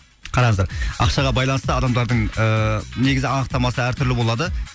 қараңыздар ақшаға байланысты адамдардың ыыы негізі анықтамасы әр түрлі болады